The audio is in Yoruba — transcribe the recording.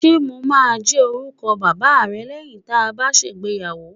Ṣé mo máa jẹ́ orúkọ bàbá rẹ lẹ́yìn tá a bá ṣègbéyàwó?